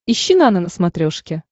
ищи нано на смотрешке